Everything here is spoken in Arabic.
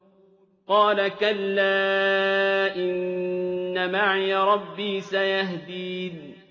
قَالَ كَلَّا ۖ إِنَّ مَعِيَ رَبِّي سَيَهْدِينِ